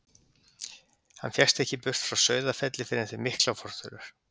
Hann fékkst ekki burt frá Sauðafelli fyrr en eftir miklar fortölur.